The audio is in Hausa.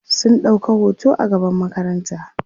sun ɗauka hoto a gaban makaranta